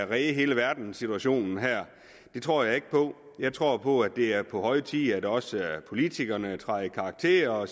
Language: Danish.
redde hele verdenssituationen det tror jeg ikke på jeg tror på at det er på høje tid at også politikerne træder i karakter og